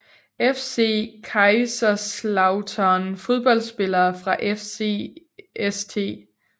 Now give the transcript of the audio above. FC Kaiserslautern Fodboldspillere fra FC St